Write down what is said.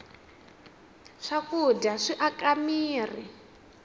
swakudya swi aka mirhi